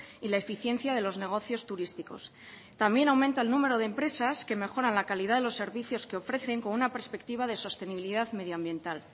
y la eficiencia de los negocios turísticos también aumenta el número de empresas que mejoran la calidad de los servicios que ofrecen con una perspectiva de sostenibilidad medioambiental